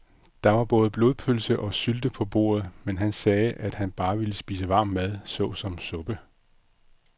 Der var både blodpølse og sylte på bordet, men han sagde, at han bare ville spise varm mad såsom suppe.